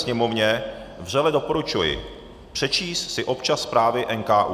Sněmovně vřele doporučuji přečíst si občas zprávy NKÚ.